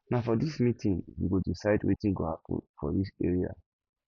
na for dis meeting we go decide wetin go happen for dis area